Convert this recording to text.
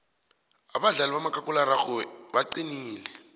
abadlali bakamakhakhulararhwe baqinile